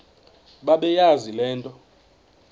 bebeyazi le nto